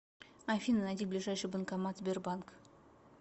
афина найди ближайший банкомат сбербанк